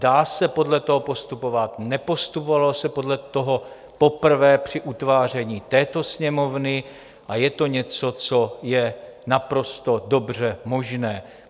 Dá se podle toho postupovat, nepostupovalo se podle toho poprvé při utváření této Sněmovny a je to něco, co je naprosto dobře možné.